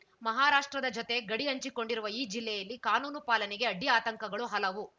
ಮಹಾರಾಷ್ಟ್ರದ ಜೊತೆ ಗಡಿ ಹಂಚಿಕೊಂಡಿರುವ ಈ ಜಿಲ್ಲೆಯಲ್ಲಿ ಕಾನೂನು ಪಾಲನೆಗೆ ಅಡ್ಡಿಆತಂಕಗಳು ಹಲವು